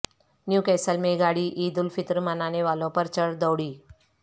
new castle میں گاڑی عید الفطر منانے والوں پر چڑھ دوڑی